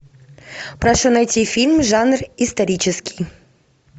прошу найти фильм жанр исторический